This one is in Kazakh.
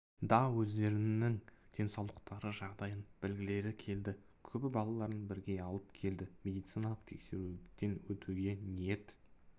да өздерінің денсаулықтары жағдайын білгілері келді көбі балаларын бірге алып келді медициналық тексеруден өтуге ниет